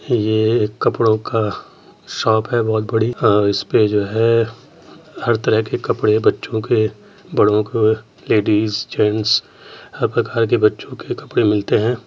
ये एक कपड़ो का शॉप है बहुत बड़ी अ इस पर जो है हर तरह के कपड़े बच्चो के बड़ो के लेडीज जेन्स हर प्रकार के बच्चो के कपड़े मिलते हैं।